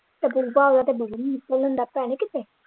ਤੇ ਲੈਂਦਾ ਪੈਹੇ ਕਿਤੇ।